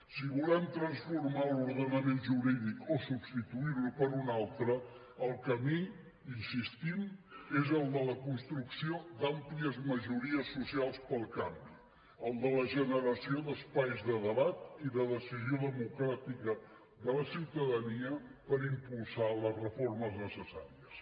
si volem transformar l’ordenament jurídic o substituir lo per un altre el camí hi insistim és el de la construcció d’àmplies majories socials pel canvi el de la generació d’espais de debat i de decisió democràtica de la ciutadania per impulsar les reformes necessàries